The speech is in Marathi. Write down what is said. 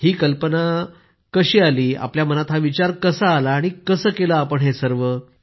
ही कशी कल्पना आली आपल्या मनात हा विचार कसा आला आणि कसं केलं आपण हे सर्व